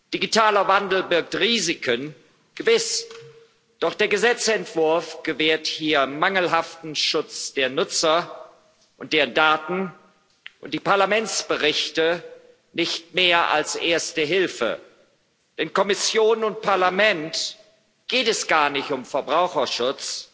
Digitaler Wandel birgt Risiken gewiss doch der Gesetzentwurf gewährt hier mangelhaften Schutz der Nutzer und ihrer Daten, und die Parlamentsberichte nicht mehr als Erste Hilfe. Denn Kommission und Parlament geht es gar nicht um Verbraucherschutz,